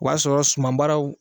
O y'a sɔrɔ sumabaaraw